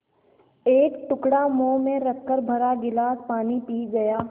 एक टुकड़ा मुँह में रखकर भरा गिलास पानी पी गया